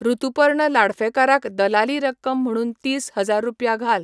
ऋतुपर्ण लाडफेकार क दलाली रक्कम म्हणून तीस हजार रुपया घाल